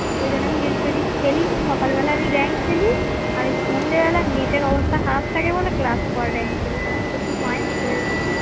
ঐজন্যে যদি আমি খেলি তো সকাল বেলা আমি রেঙ্ক খেলি আর সন্ধেবেলা নেটের অবস্থা খারাব থাকে বলে ক্লাস পরে রেঙ্ক খেলি শুধু মাইনাস হয়ে যায়